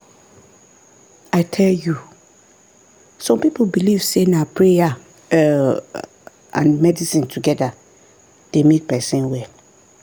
i tell you! some people believe say na prayer um and medicine together dey make person well.